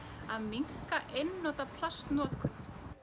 að minnka einnota plastnotkun